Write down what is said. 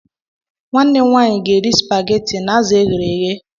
Nwanne m nwaanyị ga-eri supageti na azụ e ghere eghe.